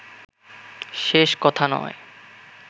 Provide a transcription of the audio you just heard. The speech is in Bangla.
শেষ কথা নয়